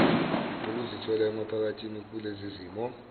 ukuzithola emaphakathi kulezizimo